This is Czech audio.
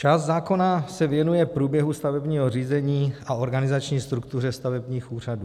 Část zákona se věnuje průběhu stavebního řízení a organizační struktuře stavebních úřadů.